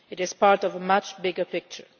It is part of a much bigger picture.